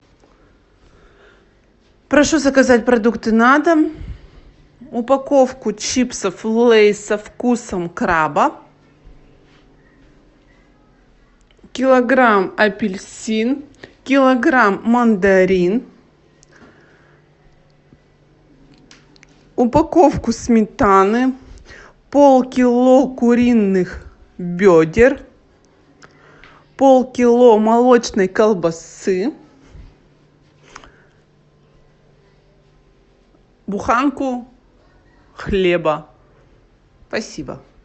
прошу заказать продукты на дом упаковку чипсов лейс со вкусом краба килограмм апельсин килограмм мандарин упаковку сметаны полкило куриных бедер полкило молочной колбасы буханку хлеба спасибо